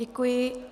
Děkuji.